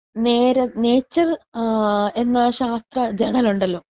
നേരെ നേച്ചർ ഏഹ് എന്ന ശാസ്ത്ര ജേര്‍ണലുണ്ടലോ?